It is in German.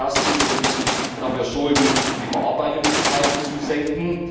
Erstens Wir müssen dafür sorgen, die Bearbeitungszeiten zu senken.